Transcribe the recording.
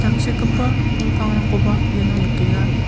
tangsekgipa bol pangrangkoba iano nikenga.